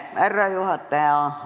Härra juhataja!